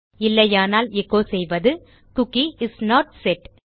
இல்லையானால் echo add செய்வது cookie is not set